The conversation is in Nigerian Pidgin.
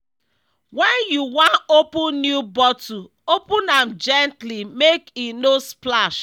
when you wan open new bottle open am gently make e no splash.